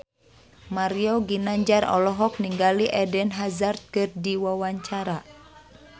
Mario Ginanjar olohok ningali Eden Hazard keur diwawancara